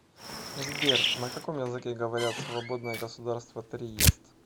сбер на каком языке говорят в свободное государство триест